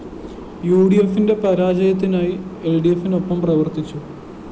യുഡിഎഫിന്റെ പരാജയത്തിനായി എല്‍ഡിഎഫിനൊപ്പം പ്രവര്‍ത്തിച്ചു